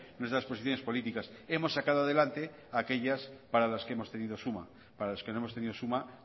nuestras posiciones políticas hemos sacado adelante aquellas para las que hemos tenido suma para las que no hemos tenido suma